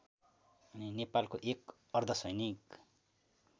नेपालको एक अर्धसैनिक